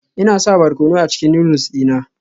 Ina sa barkono a cikin noodles dina